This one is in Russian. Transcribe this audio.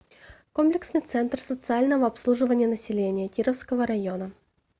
комплексный центр социального обслуживания населения кировского района